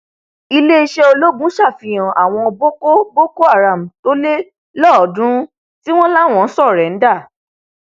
iléeṣẹ ológun ṣàfihàn àwọn boko boko haram tó le lọọọdúnrún tí wọn láwọn sóréńdà